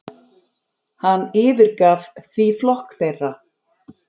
Hann yfirgaf því flokk þeirra.